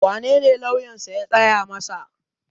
wanene lauyansa ya tsaya masa?